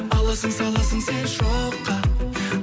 аласың саласың сен шоққа